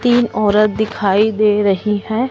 तीन औरत दिखाई दे रही हैं।